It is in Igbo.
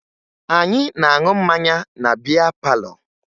Anyị na-aṅụ mmanya na bịá pálọ̀